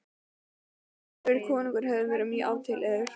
Hvorugur kosturinn hefði verið mjög álitlegur.